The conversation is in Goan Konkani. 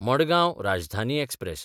मडगांव राजधानी एक्सप्रॅस